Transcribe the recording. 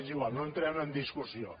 és igual no entrem en discussió